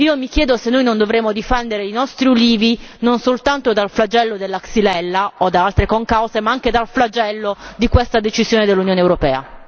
Mi chiedo se noi non dovremmo difendere i nostri ulivi non soltanto dal flagello della Xylella o da altre concause, ma anche dal flagello di questa decisione dell'Unione europea.